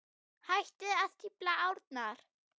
Hættið að stífla árnar.